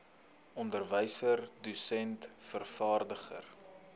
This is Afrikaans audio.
onderwyser dosent vervaardiger